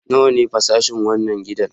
Nawa ne fasashin wannan gidan?